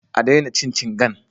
A daina cin cingan